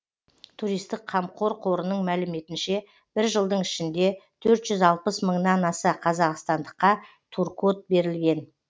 туристік қамқор қорының мәліметінше бір жылдың ішінде төрт жүз алпыс мыңнан аса қазақстандыққа туркод берілген